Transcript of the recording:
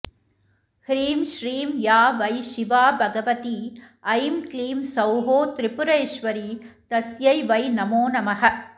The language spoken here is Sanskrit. ह्रीं श्रीं या वै शिवा भगवती ऐं क्लीं सौः त्रिपुरेश्वरी तस्यै वै नमो नमः